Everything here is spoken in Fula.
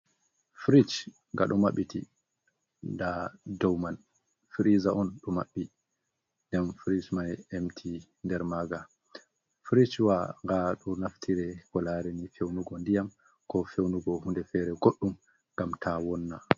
Fridge ngaɗo maɓɓiti, nda dau man freezer on do maɓɓi. Dem fridge mai empty nder maanga. Fridge wa nga ɗo naftire ko lare ni fewnugo ndiyam, ko fewnugo hunde fere goɗɗum gam ta wonna.